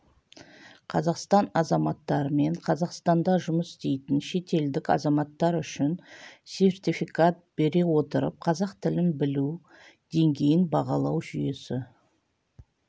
қазақстан азаматтары мен қазақстанда жұмыс істейтін шетелдік азаматтар үшін сертификат бере отырып қазақ тілін білу деңгейін бағалау жүйесі